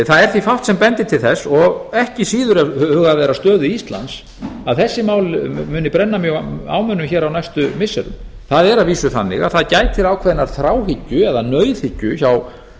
það er því fátt sem bendir til þess og ekki síður ef hugað er að stöðu íslands að þessi mál muni brenna mjög á mönnum hér á næstu missirum það er að vísu þannig að það gætir ákveðinnar þráhyggju eða nauðhyggju hjá